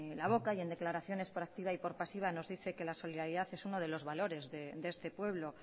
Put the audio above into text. la boca y en declaraciones por activa y por pasiva nos dice que la solidaridad es uno de los valores de este pueblo